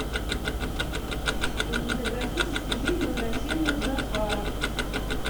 кинематографический фильм возвращение джафара